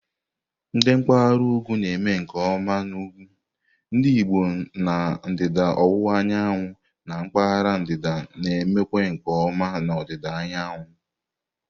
ndi mpaghara ukwu na-eme nke ọma na ukwu, ndi Igbo na ndịda ọwụwa anyanwụ, na mpaghara ndịda na eme kwa nke oma na ọdịda anyanwụ.